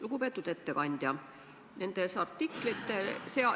Lugupeetud ettekandja!